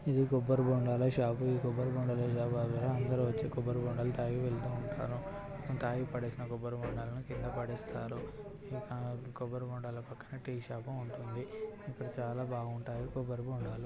ఇది కొబ్బరి బొండాల షాప్ అందరూ వచ్చి కొబ్బరి బొండాలు తాగి వెళ్తూ ఉంటారు తాగిపేడేస్ కొబ్బరి బొండాలు కింద పడేస్తారు. ఇంకా కొబ్బరి బొండాలు పక్కన టీ షాప్ ఉంటుంది. ఇక్కడ చాలా బాగుంటాయి కొబరిబోండాలు.